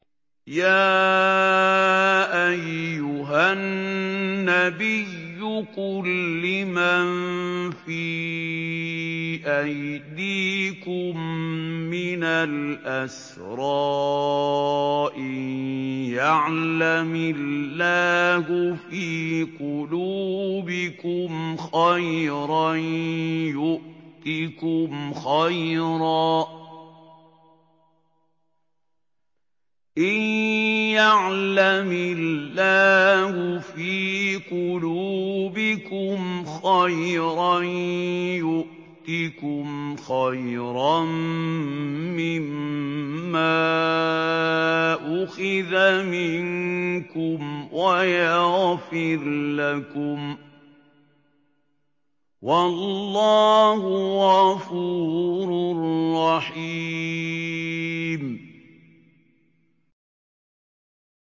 يَا أَيُّهَا النَّبِيُّ قُل لِّمَن فِي أَيْدِيكُم مِّنَ الْأَسْرَىٰ إِن يَعْلَمِ اللَّهُ فِي قُلُوبِكُمْ خَيْرًا يُؤْتِكُمْ خَيْرًا مِّمَّا أُخِذَ مِنكُمْ وَيَغْفِرْ لَكُمْ ۗ وَاللَّهُ غَفُورٌ رَّحِيمٌ